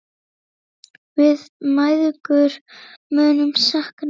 Við mæðgur munum sakna þín.